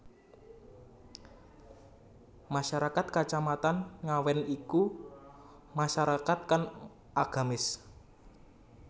Masyarakat Kacamatan Ngawen iku masyarakat kang agamis